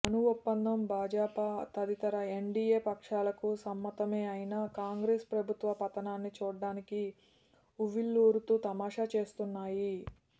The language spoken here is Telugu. అణు ఒప్పందం భాజపా తదితర ఎన్డీయే పక్షాలకు సమ్మతమే అయినా కాంగ్రెసు ప్రభుత్వ పతనాన్ని చూడాలని వువ్విళ్ళూరుతూ తమాషా చూస్తున్నాయి